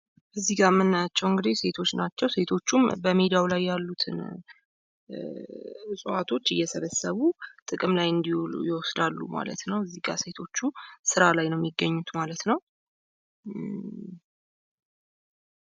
እዚጋ መናያቸው እንግዲህ ሴቶች ናቸው ።ሴቶቹም በሜዳው ላይ ያሉትን እጽዋቶች እየሰበሰቡ ጥቅም ላይ እንዲውሉ ይወስዳሉ ማለት ነው። እዚጋ ሴቶቹ ስራ ላይ ነው የሚገኙት ማለት ነው።